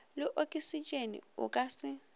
le oksitšene o ka se